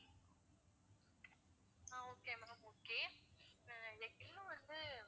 ஆஹ் okay ma'am okay ah எனக்கு இன்னும் வந்து